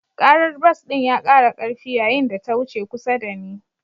Karar bas ɗin ya kara karfi yayin da ta wuce kusa da ni.